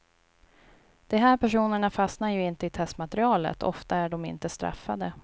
De här personerna fastnar ju inte i testmaterialet, ofta är de inte straffade.